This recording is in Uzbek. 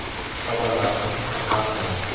Odamlarning fikri har xil.